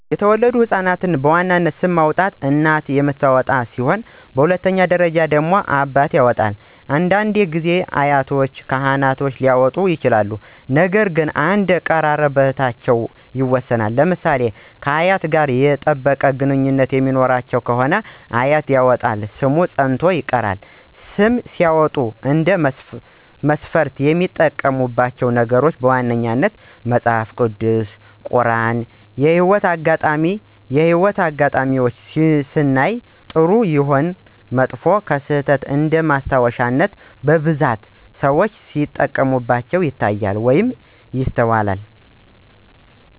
የተወለዱ ህፃናቶችን ሰም በዋናነት እናት የምታወጣ ሲሆን በሁለተኛ ደረጃ አባት ያወጣል፤ አንዳንድ ጊዜ አያቶች እና ካህኖች ሊያወጡ ይችላሉ ነገር ግን እንደ ቅርርብነታቸው ይወሰናል። ለምሳሌ ከአያት ጋር የጠበቀ ግንኙነት የሚኖራት ከሆነ አያት ያወጣችው ሰም ፀንቶ ይቀራል። ስም ሲያወጡ እንደ መስፈርት የሚያዩት ነገር ቢኖር በዋነኛነት መጸሐፍ ቅዱስ፣ ቁራን እና የህይወት አጋጣሜን ነው። የህይወት አጋጣሜን ስናይ ጥሩም ይሁን መጥፎ ክስተት እንደማስታወሻነት በብዛት ሰዎች ሲጠቀሙበት ይታያሉ ወይም ይስተዋላሉ።